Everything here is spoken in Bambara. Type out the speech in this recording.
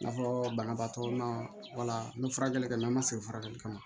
I n'a fɔ banabaatɔ naa wala n bɛ furakɛli kɛ n'a ma segin furakɛli kama